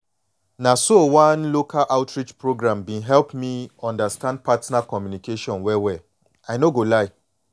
na so one local outreach program been help me understand partner communication well well i no go lie